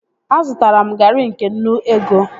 Azụtara m garị nke nnu ego